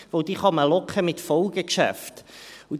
Denn diese kann man mit Folgegeschäften locken.